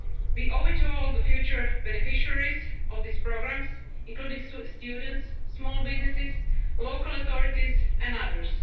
time available now. We owe it to all the future beneficiaries of these programmes, including students, small businesses, local authorities